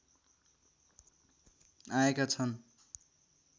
आएका छन्